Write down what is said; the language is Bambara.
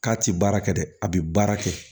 K'a ti baara kɛ dɛ a bi baara kɛ